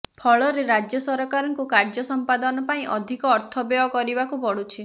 ଫଳରେ ରାଜ୍ୟ ସରକାରଙ୍କୁ କାର୍ଯ୍ୟ ସମ୍ପାଦନ ପାଇଁ ଅଧିକ ଅର୍ଥ ବ୍ୟୟ କରିବାକୁ ପଡୁଛି